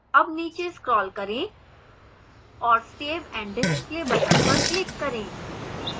अब नीचे scroll करें और save and display button पर click करें